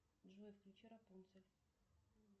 джой включи рапунцель